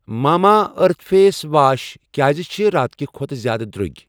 ماما earth face wash کیٛازِ چھ راتہٕ کہِ کھۄتہٕ زیادٕ درٛوگۍ؟